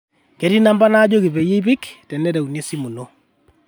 ketii namba naajoki peyie ipik tenereuni esimu ino